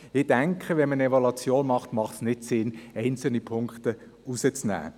Ich denke, wenn man eine Evaluation macht, macht es keinen Sinn, einzelne Punkte auszunehmen.